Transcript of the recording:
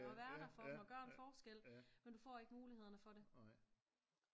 Og være der for dem og gøre en forskel men du får ikke mulighederne for det